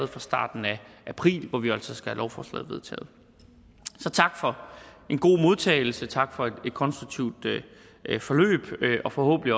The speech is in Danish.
fra starten af april hvor vi jo altså skal have lovforslaget vedtaget så tak for en god modtagelse og tak for et konstruktivt forløb og forhåbentlig